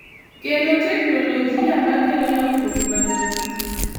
Kendo teknoloji ma kelo lokruok maduong’,